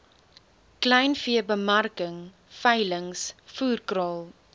kleinveebemarking veilings voerkraal